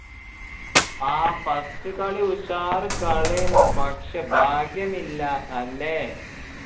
ആഹ് first കളി ഉഷാറ് കളി ഏന് പക്ഷേ ഭാഗ്യമില്ല അല്ലേ